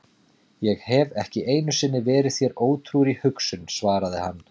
Ég hef ekki einu sinni verið þér ótrúr í hugsun, svaraði hann.